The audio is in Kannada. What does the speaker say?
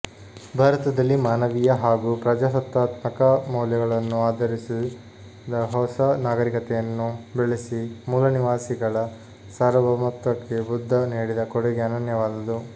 ಭಾರತದಲ್ಲಿ ಮಾನವೀಯ ಹಾಗೂ ಪ್ರಜಾಸತ್ತಾತ್ಮಕ ಮೌಲ್ಯಗಳನ್ನು ಆಧರಿಸಿದ ಹೊಸ ನಾಗರಿಕತೆಯನ್ನು ಬೆಳೆಸಿ ಮೂಲನಿವಾಸಿಗಳ ಸಾರ್ವಭೌಮತ್ವಕ್ಕೆ ಬುದ್ಧ ನೀಡಿದ ಕೊಡುಗೆ ಅನನ್ಯವಾದುದು